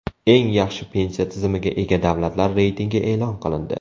Eng yaxshi pensiya tizimiga ega davlatlar reytingi e’lon qilindi.